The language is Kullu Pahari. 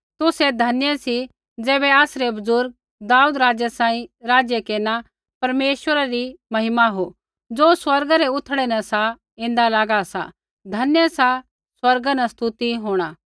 तुसै धन्य सी ज़ैबै आसरै बुज़ुर्ग दाऊद राज़ै सांही राज्य केरना परमेश्वरा री महिमा हो ज़ो स्वर्गा रै उथड़ै न सा ऐन्दा लागा सा धन्य सा स्वर्गा न स्तुति होंणा